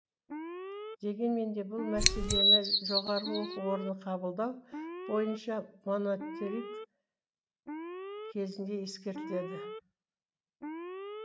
дегенмен де бұл мәселені жоғарғы оқу орнын қабылдау бойынша монатариг кезінде ескеріледі